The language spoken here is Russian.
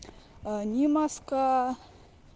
а не маска